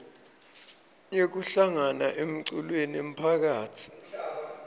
yekuhlangana emiculweni yemphakatsi